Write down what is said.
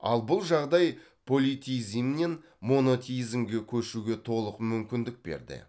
ал бұл жағдай политеизмнен монотеизмге көшуге толық мүмкіндік берді